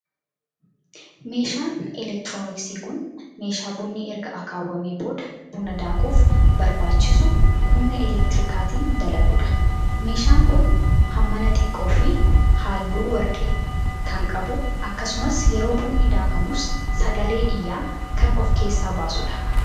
Meeshaan elektirooniksii kun, meeshaa bunni erga akaawwamee booda buna daakuuf barbaachisu humna elektirikaatin dalauu dha. Meeshaan kun, hammaan xiqqoo fi haalluu warqee kan qabu akkasumas yeroo bunni daakamus sagalee iyyaa kan of keessaa baasu dha.